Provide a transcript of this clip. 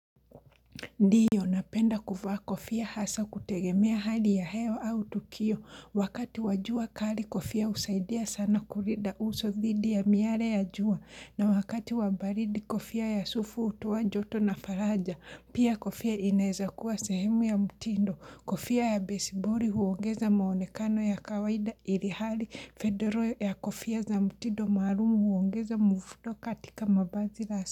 Ndiyo napenda kuvaa kofia hasa kutegemea hali ya heo au tukio, wakati wa jua kali kofia husaidia sana kulinda uso dhidi ya miale ya jua, na wakati wa baridi kofia ya sufu hutoa joto na faraja, pia kofia inaweza kuwa sehemu ya mtindo, kofia ya besibori huongeza maonekano ya kawaida ilihali, fedoro ya kofia za mtindo maalum huongeza muvuto katika mavazi la asa.